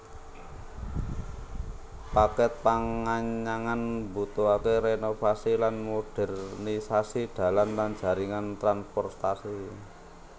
Paket panganyangan mbutuhake renovasi lan modernisasi dalan lan jaringan transportasi